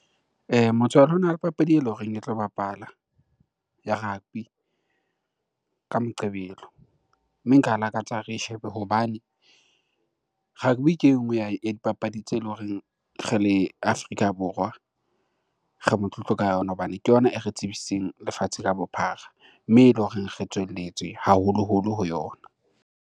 Motswalle hona le papadi eleng horeng e tlo bapala ya rugby ka Moqebelo. Mme nka lakatsa ha re shebe hobane rugby ke e nngwe ya dipapadi tsele horeng re le Afrika Borwa re motlotlo ka yona hobane ke yona e re tsebisitseng lefatshe ka bophara. Mme eleng horeng re tswelelletswe haholoholo ho yona.